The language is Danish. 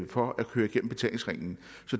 for at køre igennem betalingsringen